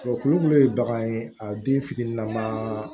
Tulu min ye bagan ye a den fitinin ma